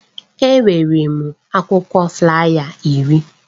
Enwere m akwụkwọ flaya iri.